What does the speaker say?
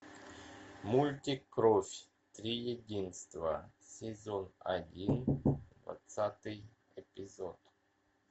мультик кровь триединства сезон один двадцатый эпизод